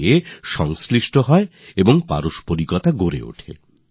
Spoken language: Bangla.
আর মজার কথা হল এই যে সমাজ নদীর সঙ্গে যুক্ত আর পরস্পরের সঙ্গেও যুক্ত